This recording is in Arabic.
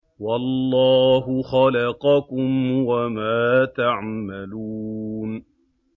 وَاللَّهُ خَلَقَكُمْ وَمَا تَعْمَلُونَ